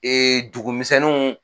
Ee dugumisɛnninw